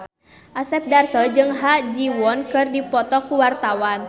Asep Darso jeung Ha Ji Won keur dipoto ku wartawan